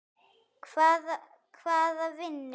Hvaða vinnu?